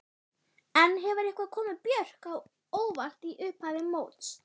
En hefur eitthvað komið Björk á óvart í upphafi móts?